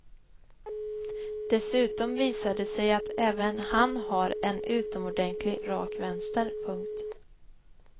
Dessutom visar det sig att även han har en utomordentlig rak vänster. punkt